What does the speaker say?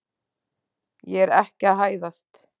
Ég er ekki að hæðast.